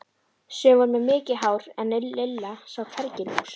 Sum voru með mikið hár en Lilla sá hvergi lús.